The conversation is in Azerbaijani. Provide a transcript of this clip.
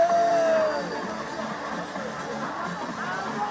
Qarabağ!